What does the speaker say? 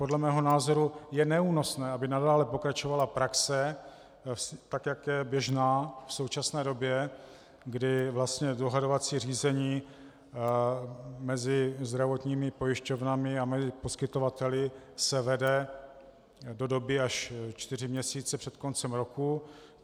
Podle mého názoru je neúnosné, aby nadále pokračovala praxe, tak jak je běžná v současné době, kdy vlastně dohadovací řízení mezi zdravotními pojišťovnami a poskytovateli se vede do doby až čtyři měsíce před koncem roku.